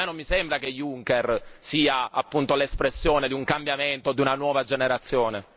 A me non sembra che Juncker sia appunto l'espressione di un cambiamento o di una nuova generazione.